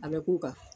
A bɛ k'u kan